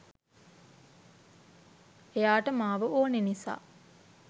එයාට මාව ඕන නිසා